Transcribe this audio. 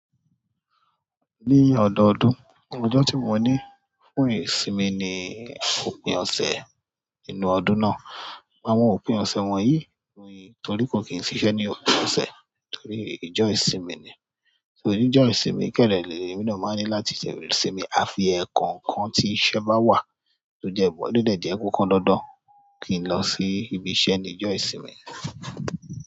Ní ọ̀dọọdún, ọjọ́ tí mo ní fún ìsinmi ni òpin ọ̀sẹ̀ inú ọdún náà. Àwọn òpin ọ̀sẹ̀ wọ̀nyí, torí kò kí n ṣiṣẹ́ ní òpin ọ̀sẹ̀ torí ìjọ ìsìn ni. Torí ìjọ ìsinmi kẹ́dẹ re, èmi náà máa ní láti ṣe ìsinmi, a fi ẹkọọkan tí iṣẹ́ bá wà tó jẹ́bọ, to dẹ jẹ pe opandandan kí n lọ sí ibi iṣẹ́ ní ìjọ ìsinmi.